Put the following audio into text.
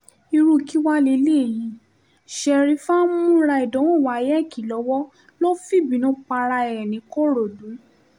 irú kí wàá lélẹ́yìí sherifa ń múra ìdánwò wayeèkì lọ́wọ́ ló fi bínú para ẹ̀ nìkòròdú